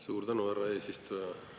Suur tänu, härra eesistuja!